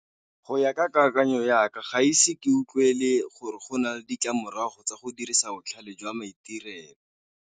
Go ya ka kakanyo yaka, ga ise ke utlwele gore go na le ditlamorago tsa go dirisa botlhale jwa maitirelo.